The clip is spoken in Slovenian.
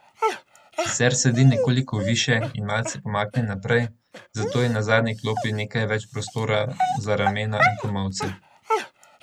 Sicer sedi nekoliko višje in malce pomaknjen naprej, zato je na zadnji klopi nekaj več prostora za ramena in komolce.